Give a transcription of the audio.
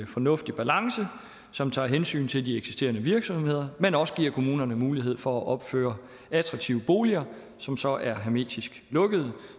fornuftig balance som tager hensyn til de eksisterende virksomheder men også giver kommunerne mulighed for at opføre attraktive boliger som så er hermetisk lukkede